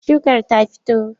Shukar ta fito?